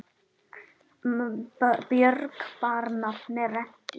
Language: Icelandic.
Björg bar nafn með rentu.